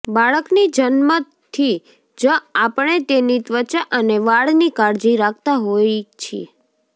બાળકની જન્મથી જ આપણે તેની ત્વચા અને વાળની કાળજી રાખતા હોય છીએ